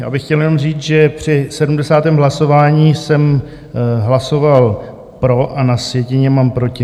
Já bych chtěl jenom říct, že při 70. hlasování jsem hlasoval pro a na sjetině mám proti.